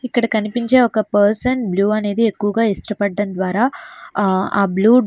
ఇక్కడ కనిపించే ఒక పర్సన్ బ్లు అనేది ఎక్కువగా ఇష్టపడం ద్వారా ఆ బ్లు --